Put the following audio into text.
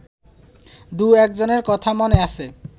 দু-একজনের কথা মনে আছে